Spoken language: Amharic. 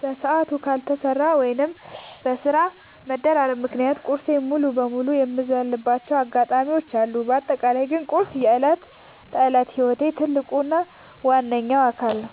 በሰዓቱ ካልተሰራ ወይም በስራ መደራረብ ምክንያት ቁርሴን ሙሉ በሙሉ የምዘልባቸው አጋጣሚዎች አሉ። በአጠቃላይ ግን ቁርስ የዕለት ተዕለት ህይወቴ ትልቅ እና ዋነኛ አካል ነው።